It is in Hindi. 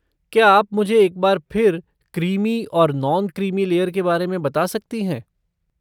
क्या आप मुझे एक बार फिर क्रीमी और नॉन क्रीमी लेयर के बारे में बता सकती हैं?